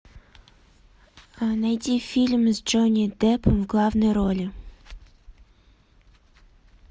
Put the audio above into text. найди фильм с джонни деппом в главной роли